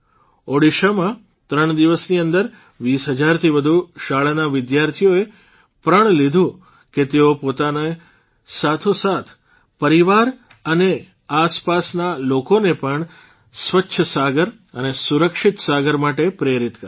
ઓડીશામાં ૩ દિવસની અંદર ૨૦ હજારથી વધુ શાળાના વિદ્યાર્થીઓએ પ્રણ લીધું કે તેઓ પોતાની સાથોસાથ પરિવાર અને આસપાસના લોકોને પણ સ્વચ્છ સાગર અને સુરક્ષિત સાગર માટે પ્રેરિત કરશે